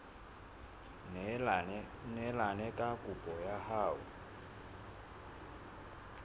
neelane ka kopo ya hao